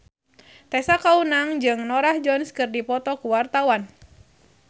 Tessa Kaunang jeung Norah Jones keur dipoto ku wartawan